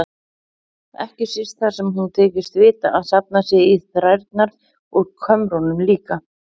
Ekki síst þar sem hún þykist vita að safnað sé í þrærnar úr kömrunum líka.